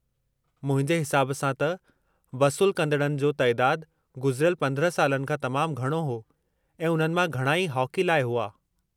मुंहिंजे हिसाब सां त वसूलु कंदड़नि जो तइदादु गुज़िरियल 15 सालनि खां तमामु घणो हो ऐं उन्हनि मां घणा हॉकी लाइ हुआ।